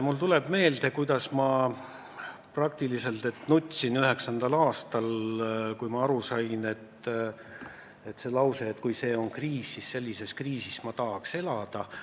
Mulle tuleb meelde, kuidas ma sisuliselt nutsin 2009. aastal, kui kuulsin lauset: "Kui see on kriis, siis sellises kriisis ma tahaks elada.